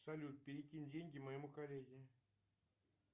салют перекинь деньги моему коллеге